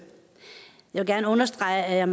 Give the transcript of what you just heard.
er